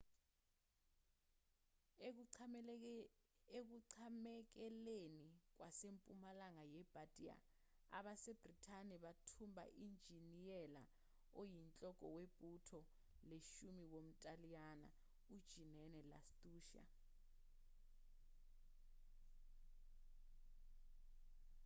ekuqamekeleni kwasempumalanga yebardia abasebhrithani bathumba unjiniyela oyinhloko webutho leshumi womntaliyane ujenene lastucci